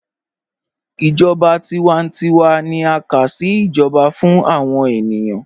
Ijọba tiwántíwà ni a ká sí ijọba fún awọn ènìyàn